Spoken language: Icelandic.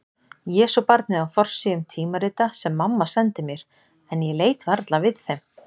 Jesúbarnið á forsíðum tímarita sem mamma sendi mér en ég leit varla við þeim.